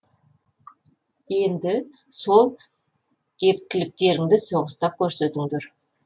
енді сол ептіліктеріңді соғыста көрсетіңдер